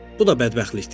Bu da bədbəxtlikdir.